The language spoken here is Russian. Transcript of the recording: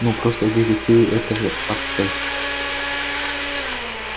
ну просто детективы это же отстой